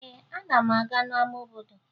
Ee, ana m aga n'ama obodo